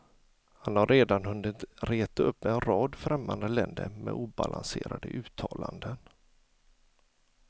Han har redan hunnit reta upp en rad främmande länder med obalanserade uttalanden.